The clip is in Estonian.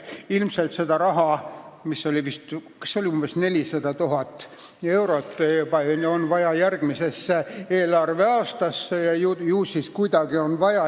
Ilmselt on see raha, see oli vist 400 000 eurot, vaja saada järgmise aasta eelarvesse.